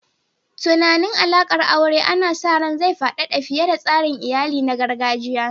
Tunanin alaƙar aure ana sa ran zai faɗaɗa fiye da tsarin iyali na gargajiya.